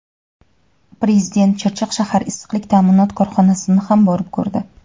Prezident Chirchiq shahar issiqlik ta’minot korxonasini ham borib ko‘rdi.